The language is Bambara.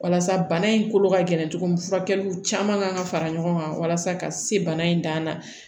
Walasa bana in kolo ka gɛlɛn cogo min furakɛliw caman kan ka fara ɲɔgɔn kan walasa ka se bana in dan na